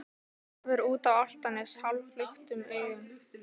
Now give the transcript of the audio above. Horfir út á Álftanes hálfluktum augum.